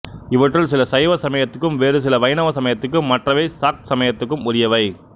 இவற்றுள் சில சைவ சமயத்துக்கும் வேறுசில வைணவ சமயத்துக்கும் மற்றவை சாக்த சமயத்துக்கும் உரியவை